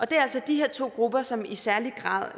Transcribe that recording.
det er altså de her to grupper som i særlig grad